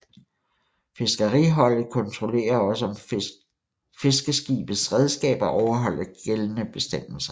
Fiskeriholdet kontrollerer også om fiskeskibets redskaber overholder gældende bestemmelser